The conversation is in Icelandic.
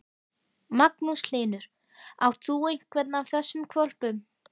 Magnús Hlynur: Átt þú einhvern af þessum hvolpum?